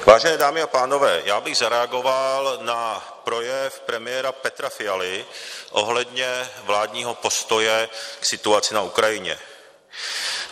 Vážené dámy a pánové, já bych zareagoval na projev premiéra Petra Fialy ohledně vládního postoje k situaci na Ukrajině.